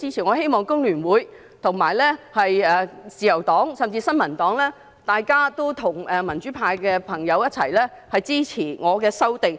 我希望香港工會聯合會、自由黨，甚至新民黨，都會與民主派的朋友一起支持我的修訂。